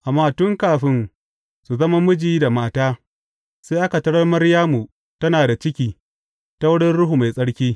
Amma tun kafin su zama miji da mata, sai aka tarar Maryamu tana da ciki, ta wurin Ruhu Mai Tsarki.